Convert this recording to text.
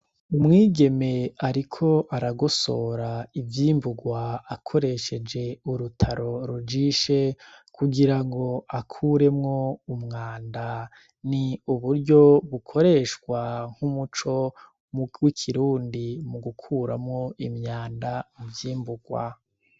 Umwigeme, ariko aragosora ivyimburwa akoresheje urutaro rujishe kugira ngo akuremwo umwanda ni uburyo bukoreshwa nk'umuco muw'ikirundi mu gukuramwo imyanda muvyimburwa.